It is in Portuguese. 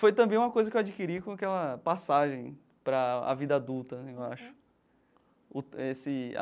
Foi também uma coisa que eu adquiri com aquela passagem para a vida adulta né, eu acho o esse a.